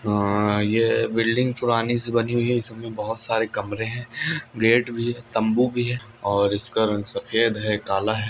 building पुरानी से बनी हुई है इसमें बहुत सारे कमरे हैं गेट भी तंबू की है और इसका रंग सफेद है कला है